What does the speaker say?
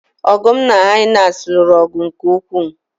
Ọdụm na hyenas lụrụ ọgụ nke ukwuu